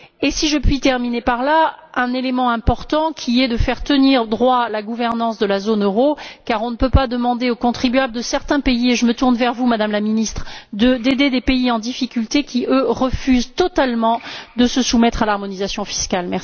Si je puis terminer sur un point, un élément important est de faire tenir droit la gouvernance de la zone euro, car on ne peut pas demander aux contribuables de certains pays et je me tourne vers vous, Madame la Ministre d'aider des pays en difficulté qui, eux, refusent totalement de se soumettre à l'harmonisation fiscale.